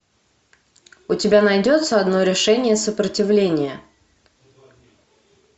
у тебя найдется одно решение сопротивления